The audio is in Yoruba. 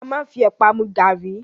A máa ń fi ẹ̀pà mu gàárì